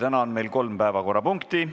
Täna on meil kolm päevakorrapunkti.